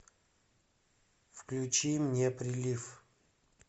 включи мне прилив